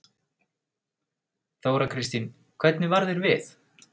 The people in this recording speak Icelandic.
Þóra Kristín: Hvernig varð þér við?